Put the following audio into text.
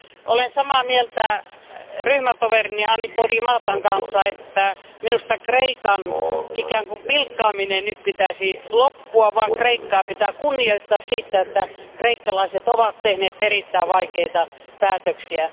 Olen samaa mieltä ryhmätoverini Podimatan kanssa siitä, että Kreikan eräänlaisen pilkkaamisen pitäisi nyt loppua. Kreikkaa pitää kunnioittaa siitä, että kreikkalaiset ovat tehneet erittäin vaikeita päätöksiä.